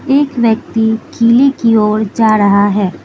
एक व्यक्ति किले की ओर जा रहा है।